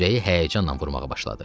Ürəyi həyəcanla vurmağa başladı.